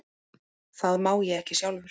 Það má ég ekki sjálfur.